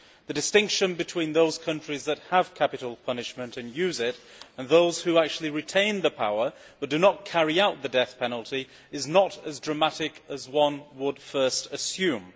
The distinction between those countries that have capital punishment and use it, and those that retain the power but do not actually carry out the death penalty, is not as dramatic as one would first assume.